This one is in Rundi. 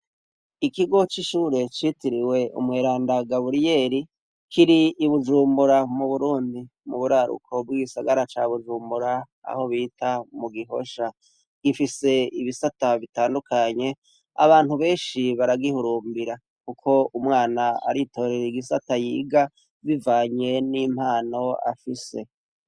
Ikigo c’ishuri citiriwe umweranda Gabuliyeri, kiri I Bujumbura mu Burundi. Muburaruko bw’igisagara ca Bujumbura aho bita mu Gihosha. Gifise ibisata bitandukanye, abantu benshi baragihurumbira kuko umwana aritorera igisata yiga Bivanye n’impano afise.